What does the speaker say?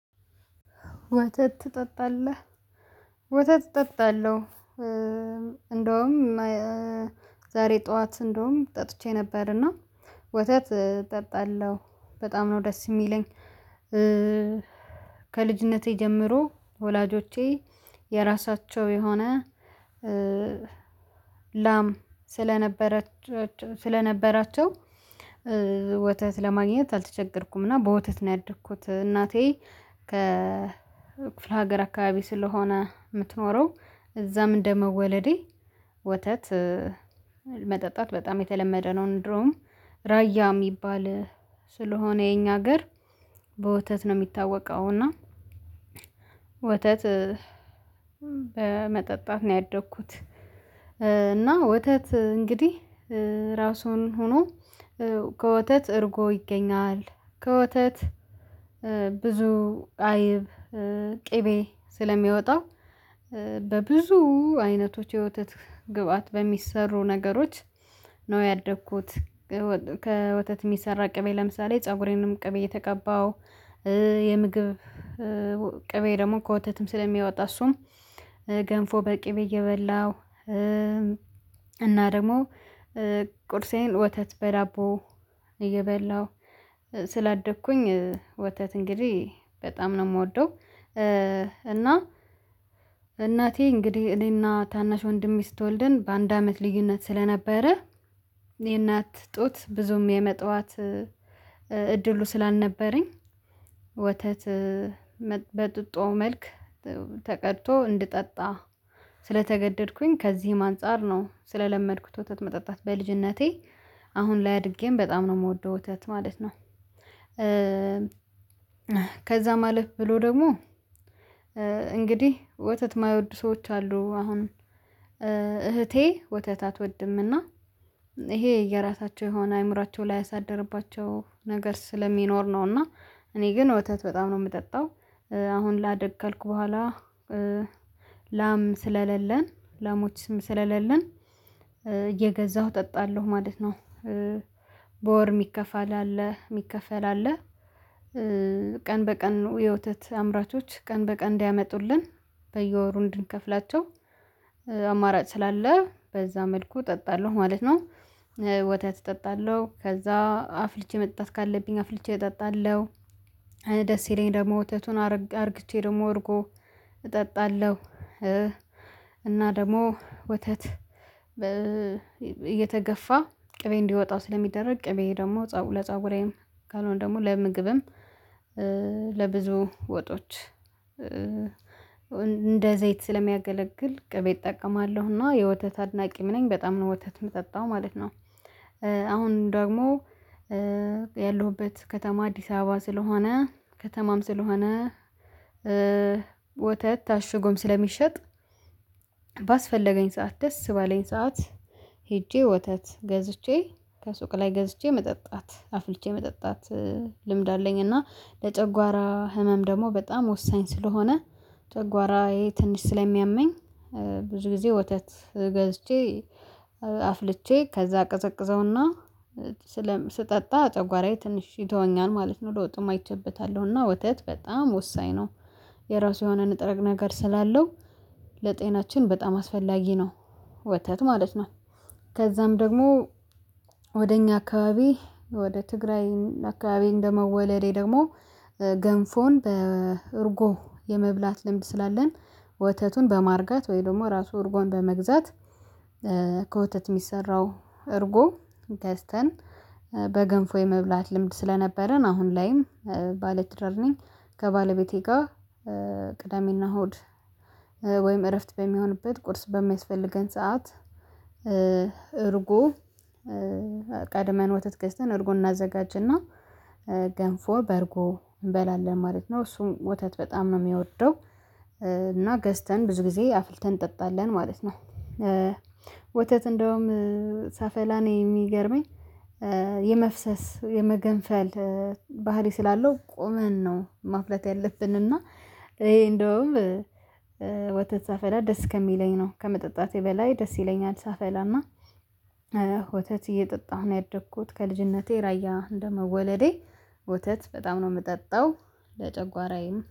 ወተት ትጠጣለህ? ወተት እጠጣለሁ እንደውም ዛሬ ጠዋት እንደውም ጠጥቼ ነበርና ወተት እጠጣለሁ በጣም ነው ደስ የሚለኝ። ከልጅነቴ ጀምሮ ወላጆቼ የራሳቸው የሆነ ላም ስለነበራቸው ወተት ለማግኘት አልተቸገርኩም እና በወተት ነው ያደግኩት እናቴ ከ ክፍለ ሀገር አካባቢ ስለሆነ የምትኖረው እዛም እንደ መወለዴ ወተት መጠጣት በጣም የተለመደ ነው ድሮም ራያ የሚባል ስለሆነ የኛ ሀገር በወተት ነው የሚታወቀው እና ወተት በመጠጣት ነው ያደግኩት። እና ወተት እንግዲህ ራሱን ሆኖ ከወተት እርጎ ይገኛል ከወተት ብዙ አይብ ቅቤ ስለሚወጣው በብዙ አይነቶች የወተት ግብአት በሚሰሩ ነገሮች ነው ያደኩት። ከወተት የሚሰራ ቅቤ ለምሳሌ ፀጉሬንም ቅቤ የተቀባው የምግብ ቅቤ ደግሞ ከወተትም ስለሚያወጣ እሱም ገንፎ በቅቤ እየበላው እና ደግሞ ቁርሴን ወተት በዳቦ እየበላሁ ስላደኩኝ ወተት እንግዲህ በጣም ነው የምወደው። እና እናቴ እንግዲህ እኔና ታናሽ ወንድሜ ስትወልደን በአንድ አመት ልዩነት ስለነበረ የእናት ጡት ብዙም የመጣኋት እድሉ ስላልነበረኝ ወተት በጡጦ መልክ ተቀድቶ እንድጠጣ ስለተገደድኩኝ ከዚህም አንፃር ነው ስለለመድኩት ወተት መጠጣት በልጅነቴ አሁን ላይ አድጌም በጣም ነው የምወደው ወተት ማለት ነው። ከዛም አለፍ ብሎ ደግሞ እንግዲህ ወተት የማይወድ ሰዎች አሉ አሁንም እህቴ ወተት አትወድምና ይሄ የራሳቸው የሆነ አእምሮአቸው ላይ አሳደርባቸው ነገር ስለሚኖር ነውና እኔ ግን ወተት በጣም ነው የምጠጣው አሁን ላድግ ካልኩ በኋላ ላም ስለሌለን ላሞች ስም ስለሌለን የገዛሁ እጠጣለሁ ማለት ነው። በወር የሚከፋ አለ የሚከፋ አለ ቀን በቀን የወተት አምራቾች ቀን በቀን እንዲያመጡልን በየወሩ እንድንከፍላቸው አማራጭ ስላለ በዛ መልኩ እጠጣለሁ ማለት ነው። ወተት እጠጣለሁ ከዛ አፍልቼ መጣት ካለብኝ አፍልቼ እጠጣለሁ ደስ ሲለኝ ደግሞ ወተቱን አድርግቼ ደግሞ እርጎ እጠጣለሁ እና ደግሞ ወተት እየተገፋ ቅቤ እንዲወጣው ስለሚደረግ ቅቤ ደግሞ ለፀጉሬም ካልሆነ ደግሞ ለምግብም ለብዙ ወጦች እንደ ዘይት ስለሚያገለግል ቅቤ እጠቀማለሁና የወተት አድናቂም ነኝ በጣም ነው ወተት የምጠጣው ማለት ነው። አሁን ደግሞ ያለሁበት ከተማ አዲስ አበባ ስለሆነ ከተማም ስለሆነ ወተት ታሽጎም ስለሚሸጥ ባስፈለገኝ ሰዓት ደስ ባለኝ ሰዓት ሄጄ ወተት ገዝቼ ከሱቅ ላይ ገዝቼ መጠጣት አፍልቼ መጠጣት ልምድ አለኝ እና ለጨጓራ ህመም ደግሞ በጣም ወሳኝ ስለሆነ ጨጓራየ ትንሽ ስለሚያመኝ ብዙ ጊዜ ወተት ገዝቼ አፍልቼ ከዛ አቀዘቅዘውና ስጠጣ ጨጉራዬ ትንሽዬ ይተወኛል ማለት ነው። ለወጥም አይቼበታለሁ እና ወተት በጣም ወሳኝ ነው የራሱ የሆነ ንጥረ ነገር ስላለው ለጤናችን በጣም አስፈላጊ ነው ወተት ማለት ነው። ከዛም ደግሞ ወደ እኛ አካባቢ ወደ ትግራይ አካባቢ እንደመወለዴ ደግሞ ገንፎን በእርጎ የመብላት ልምድ ስላለን ወተቱን በማርጋት ወይ ደግሞ ራሱ እርጎን በመግዛት ከወተት የሚሰራው እርጎ ገዝተን በገንፎ የመብላት ልምድ ስለነበረን አሁን ላይም ባለትዳርነኝ ከባለቤቴ ጋር ቅዳሜና እሁድ ወይም እረፍት በሚሆንበት ቁርስ በማይስፈልገን ሰዓት እርጎ ቀድመን ወተት ገዝተን እርጎን እናዘጋጅና ገንፎ በርጎ እንበላለን ማለት ነው እሱም ወተት በጣም ነው የሚወደው እና ገዝተን ብዙ ጊዜ አፍልተን እንጠጣለን ማለት ነው። ወተት እንደውም ሳፈላ እኔ የሚገርመኝ የመፍሰስ የመገንፈል ባህሪ ስላለው ቁምን ነው ማፍለት ያለብን እና ይሄ እንደውም ወተት ሰፈረፈላ ደስ ከሚለኝ ነው ከመጠጣቴ በላይ ደስ ይለኛል ሳፈላና ወተት እየጠጣሁ ነው ያደኩት ከልጅነቴ ራያ እንደመወለዴ ወተት በጣም ነው የምጠጣው። ለጨጓራዬም